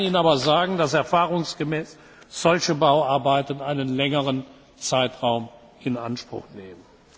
nicht. Ich kann Ihnen aber sagen, dass erfahrungsgemäß solche Bauarbeiten einen längeren Zeitraum in Anspruch nehmen.